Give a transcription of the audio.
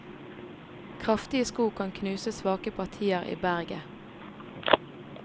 Kraftige sko kan knuse svake partier i berget.